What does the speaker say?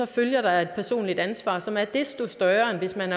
følger der et personligt ansvar så meget desto større end hvis man